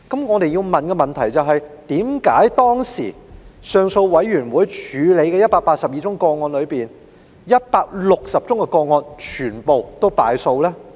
我想提出的問題是，為甚麼當時行政上訴委員會處理的182宗個案中，已作裁決的160宗個案全部敗訴。